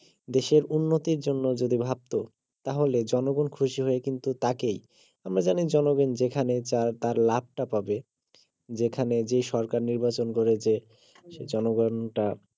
দেশের উন্নতির জন্য যদি ভাবতো তাহলে জনগন খুশি হয়ে কিন্তু তাকেই আমরা জানি জনগন যেখানেই চায় তার লাভটা পাবে যেখানে যেই সরকার নির্বাচন করে যে সে জনগনটা